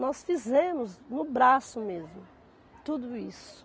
Nós fizemos, no braço mesmo, tudo isso.